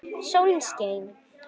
Sól skein.